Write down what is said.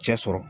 Cɛ sɔrɔ